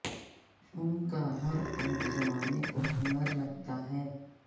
ان کا ہر عیب زمانے کو ہنر لگتا ہے